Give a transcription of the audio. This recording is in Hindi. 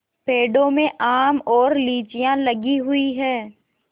पेड़ों में आम और लीचियाँ लगी हुई हैं